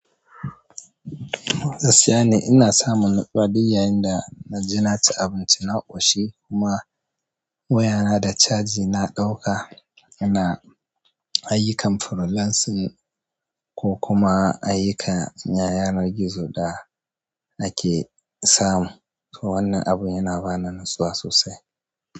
Gaskiya ne ina samun natsuwa duk yayin da naji na ci abinci na ƙoshi kuma waya na da caji na ɗauka ina ayyukan freelancing ko kuma ayyukan yanar gizo da ake samu. To wannan abu yana bani natsuwa sosai.